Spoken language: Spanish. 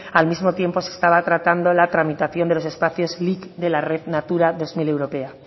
al mismo tiempo se estaba tratando la tramitación de los espacios lic de la red natura dos mil europea